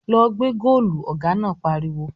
"Lọ gbẹ́ góòlù!" Ọ̀gá náà pariwo